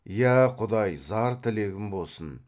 иә құдай зар тілегім босын